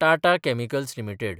Tata chemicals limited